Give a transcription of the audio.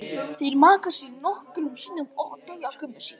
Þeir maka sig nokkrum sinnum og deyja skömmu síðar.